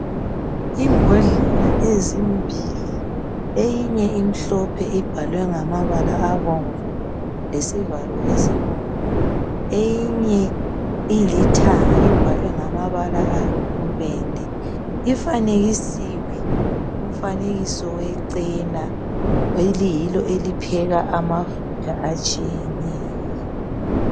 Imbodlela ezimbili eyinye imhlophe ibhalwe ngamabala abomvu lesivalo esibomvu eyinye ilithanga ibhalwe ngamabala ayibubende ifanekisiwe umfanekiso wecena eliyilo elipheka amafutha atshiyeneyo.